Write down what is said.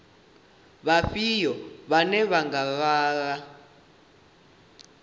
vhafhio vhane vha nga lwela